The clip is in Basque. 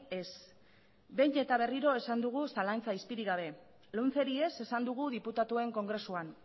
ez behin eta berriro esan dugu zalantza izpirik gabe lomceri ez esan dugu diputatuen kongresuan